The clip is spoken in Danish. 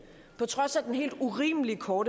i går